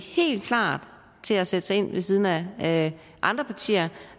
helt klar til at sætte sig ind ved siden af andre partier